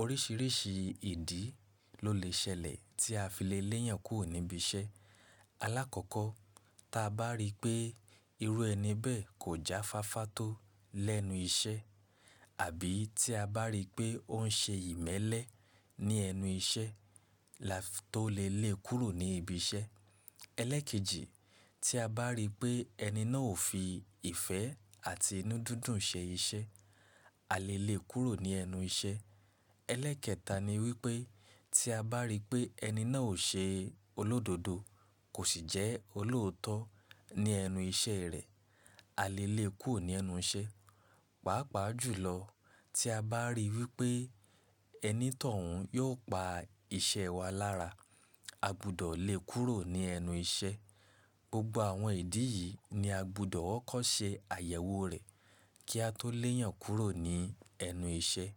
Orísìírísìí ìdí ló lè ṣẹlẹ̀ tí a fi le léyàn kúrò ní ibi iṣẹ́. Alákọ̀ọ́kọ́, tí a bá rí pé irú ẹni bẹ́ẹ̀ kò jáfáfá tó lẹ́nu iṣẹ́ àbí tí a bá rí pé ó ń ṣe ìmẹ́lẹ́ ní ẹnu iṣẹ́ la tó lè lé kúrò ní ibi iṣẹ́. Ẹlẹ́ẹ̀kejì, tí a bá rí pé ẹni náà ò fi ìfẹ́ àti inú dúndùn ṣe iṣẹ́, a lè lé kúrò ní ẹnu iṣẹ́. Ẹlẹ́ẹ̀kẹta ni wípé tí a bá rí pé ẹni náà ò ṣe olódodo, kò sì jẹ́ olóòótọ́ ní ẹnu iṣẹ́ rẹ̀, a lè lé e kúrò ní ẹnu iṣẹ́. Pàápàá jùlọ, tí a bá rí wípé ẹni tọ̀ún yóò pa iṣẹ́ wa lára, a gbudọ̀ lé kúrò ní ẹnu iṣẹ́. Gbogbo àwọn ìdí yìí ni a gbudọ̀ wọ́n kọ́ ṣe àyẹ̀wò rẹ̀ kí a tó lèyàn kúrò ní ẹnu iṣẹ́.